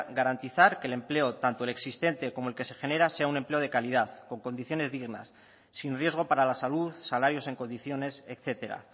garantizar que el empleo tanto el existente como el que se genera sea un empleo de calidad con condiciones dignas sin riesgo para la salud salarios en condiciones etcétera